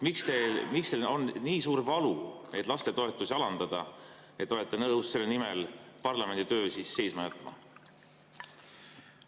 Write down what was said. Miks teil on nii suur valu lastetoetusi alandada, et te olete nõus selle nimel parlamendi töö seisma jätma?